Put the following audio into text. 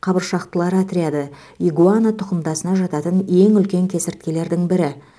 қабыршақтылар отряды игуана тұқымдасына жататын ең үлкен кесірткелердің бірі